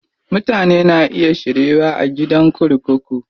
Mutane na iya shiryuwa a gidan kurkuku.